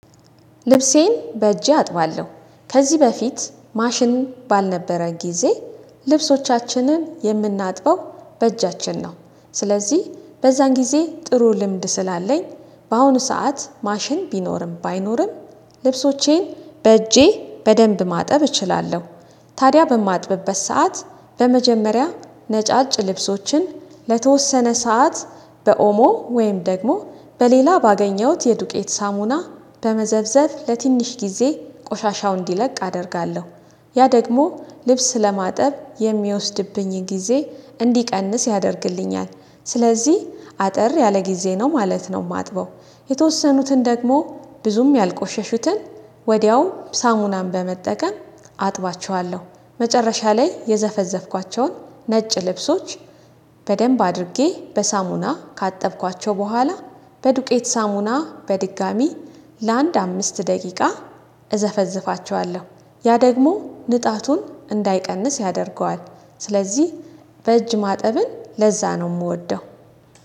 ልብሴን በእጄ አጥባለሁ። ከዚህ በፊት ማሽን ባልነበረ ጊዜ ልብሶቻችንን የምናጥበው በእጃችን ነው። ስለዚህ በዛን ጊዜ ጥሩ ልምድ ስላለኝ በአሁኑ ሰዓት ማሽን ቢኖርም ባይኖርም ልብሶቼን በእጄ በደንብ ማጠብ እችላለው። ታዲያ በማጥበበት ሰዓት በመጀመሪያ ነጫጭ ልብሶችን ለተወሰነ ሰዓት በኦሞ ወይም ደግሞ በሌላ ባገኘሁት የዱቄት ሳሙና በመዘፍዘፍ ለትንሽ ጊዜ ቆሻሻው እንዲለቅ አደርጋለሁ። ያ ደግሞ ልብስ ለማጠብ የሚወስድብኝን ጊዜ እንዲቀንስ ያደርግልኛል። ስለዚህ አጠር ያለ ጊዜ ነው ማለት ነው ማጥበው። የተወሰኑትን ደግሞ ብዙም ያልቆሸሹትን ወዲያው ሳሙናን በመጠቀም አጥባቸዋለሁ። መጨረሻ ላይ የዘፈዘፍኳቸውን ነጭ ልብሶች በደንብ አድርጌ በሳሙና ካጠብኳቸው በኋላ በዱቄት ሳሙና በድጋሚ ለአንድ አምስት ደቂቃ እዘፈዝፋቸዋለሁ። ያ ደግሞ ንጣቱን እንዳይቀንስ ያደርገዋል። ስለዚህ በእጅ ማጠብን ለዛ ነው የምወደው።